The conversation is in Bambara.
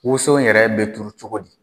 Woso in yɛrɛ bɛ turu cogo di ?.